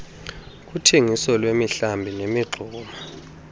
kuthengiso lwemihlambi nemingxuma